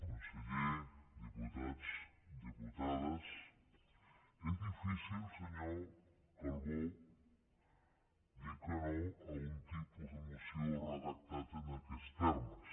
conseller diputats diputades és difícil senyor calbó dir que no a un tipus de moció redactat en aquests termes